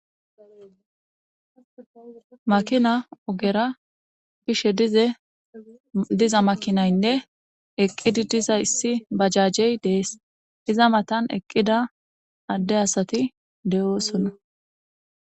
Makina ogera bishe diza makinayinne eqid diza issi bajajey Des, iz matan eqida Ade asati de'osona.